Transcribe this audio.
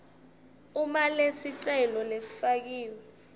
uma lesicelo lesifakiwe